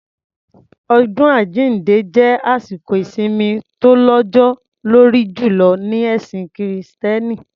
Ọdún àjínde jẹ́ àsìkò ìsimi tó lọ́jọ́ lórí jùlọ ní ẹ̀sìn kìrìtẹ́nì.